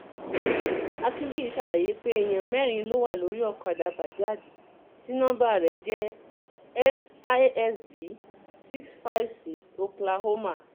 akínbíyí ṣàlàyé pé èèyàn mẹ́rin ló wà lórí ọ̀kadà bajaj tí nọmba ẹ̀ jẹ́ S I S D six five six oklahoma